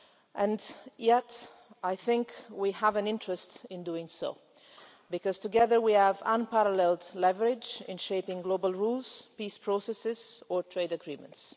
And yet, we also have an interest in doing so, because together we have unparalleled leverage in shaping global rules, peace processes or trade agreements.